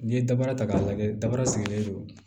N'i ye dabara ta k'a lajɛ dabara sigilen don